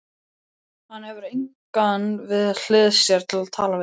Hann hefur engan við hlið sér til að tala við.